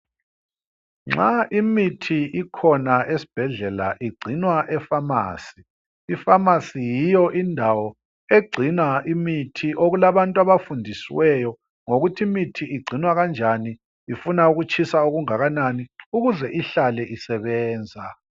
Nxa imithi ikhona esi hedlela igcinwa efamasi ifamasi yiyo indawo egcina imithi okulabantu abafundisiweyo ngokuthi imithi igcinwa kanjani ifuna ukutshisa okungakanani ukuze ihlale isebenza